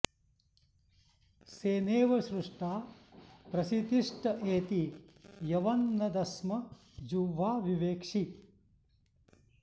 सेने॑व सृ॒ष्टा प्रसि॑तिष्ट एति॒ यवं॒ न द॑स्म जु॒ह्वा॑ विवेक्षि